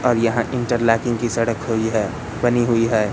और यहां इंटरलॉकिंग की सड़क हुई है बनी हुई है।